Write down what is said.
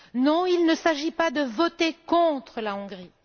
Non, il ne s'agit pas de voter contre la Hongrie.